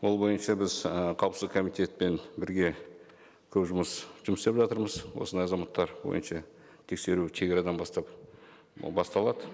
ол бойынша біз і қауіпсіздік комитетпен бірге көп жұмыс істеп жатырмыз осындай азаматтар бойынша тексеру шегарадан бастап басталады